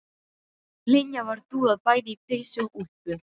Linja var dúðuð bæði í peysu og úlpu.